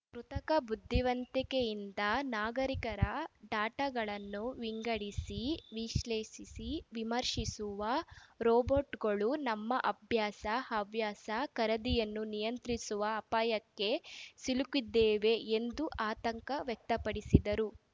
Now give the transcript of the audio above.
ಕೃತಕ ಬುದ್ಧಿವಂತಿಕೆಯಿಂದ ನಾಗರಿಕರ ಡಟಾಗಳನ್ನು ವಿಂಗಡಿಸಿ ವಿಶ್ಲೇಸಿ ವಿಮರ್ಶಿಸುವ ರೋಬೋಟುಗಳು ನಮ್ಮ ಅಭ್ಯಾಸ ಹವ್ಯಾಸ ಖರೀದಿಯನ್ನು ನಿಯಂತ್ರಿಸುವ ಅಪಾಯಕ್ಕೆ ಸಿಲುಕಿದ್ದೇವೆ ಎಂದು ಆತಂಕ ವ್ಯಕ್ತಪಡಿಸಿದರು